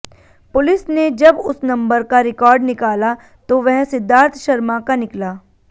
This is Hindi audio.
पुलिस ने जब उस नंबर का रिकॉर्ड निकाला तो वह सिद्धाथ शर्मा का निकला